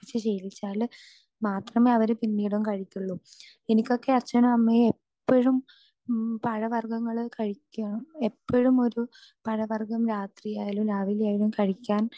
speaker 2 കഴിപ്പിച്ചു ശീലിപ്പിച്ചാൽ മാത്രമേ അവര് പിന്നീടും കഴിക്കുള്ളു ഇനി ഇതൊക്കെ അച്ഛനും അമ്മയും എപ്പോഴും പഴവർഗങ്ങൾ കഴിക്കാ എപ്പോഴും ഒരു പഴവർഗം രതിയായാലും രാവിലെ ആയാലും കഴിക്കാൻ